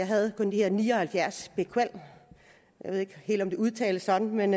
havde de her ni og halvfjerds bq jeg ved ikke helt om det udtales sådan men